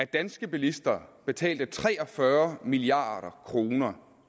danske bilister betalte tre og fyrre milliard kroner